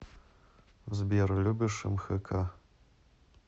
сбер любишь мхк